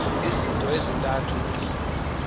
izinto ezintathu umntu